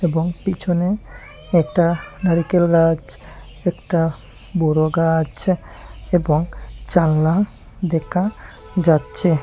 এবং পিছনে একটা নারকেল গাছ একটা বড়ো গাছ এবং জালনা দেখা যাচ্ছে।